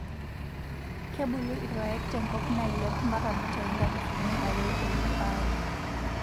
Kebulu irpaek tenkop naailep mpaka mitai nkalifuni aree oip aree.